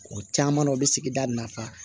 O caman na o bɛ sigida nafa